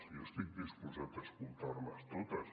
jo estic disposat a escoltar les totes